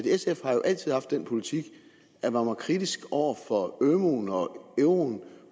sf har jo altid haft den politik at man var kritisk over for ømuen og euroen